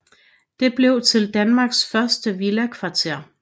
Det blev til Danmarks første villakvarter